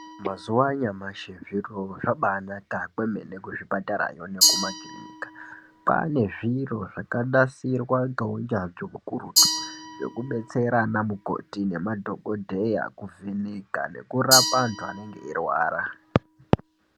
Mazuva anyamashi zviro zvabanaka kwemene kuzvipatarayo kumakiriniki Kwanezviro zvakanasirwa neunyanzvi ukurutu zvekudetsera ana mukoti nemadhokodheya kuvheneka nekuraoa antu anenge eirwara.